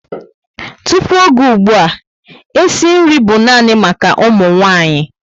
Tupu ógè ùgbúà, e si nri bú nani maka ụmụ nwanyị